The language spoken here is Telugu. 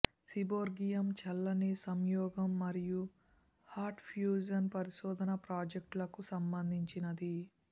సీబోర్గియం చల్లని సంయోగం మరియు హాట్ ఫ్యూజన్ పరిశోధన ప్రాజెక్టులకు సంబంధించినది